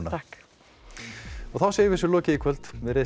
þá segjum við þessu lokið í kvöld veriði sæl